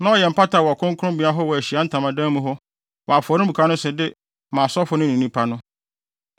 na ɔyɛ mpata wɔ kronkronbea hɔ wɔ Ahyiae Ntamadan mu hɔ, wɔ afɔremuka no so de ma asɔfo no ne nnipa no.